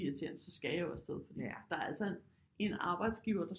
Er irriterende så skal jeg jo afsted der er altså en en arbejdsgiver der